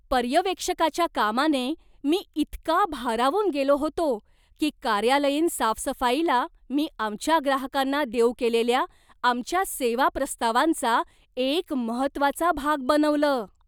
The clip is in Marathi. पर्यवेक्षकाच्या कामाने मी इतका भारावून गेलो होतो की कार्यालयीन साफसफाईला मी आमच्या ग्राहकांना देऊ केलेल्या आमच्या सेवा प्रस्तावांचा एक महत्त्वाचा भाग बनवलं.